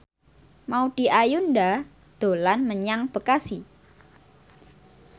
Maudy Ayunda dolan menyang Bekasi